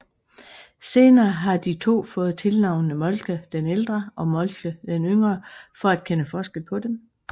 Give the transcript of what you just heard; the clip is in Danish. Senere har de to fået tilnavnene Moltke den Ældre og Moltke den Yngre for at kende forskel på dem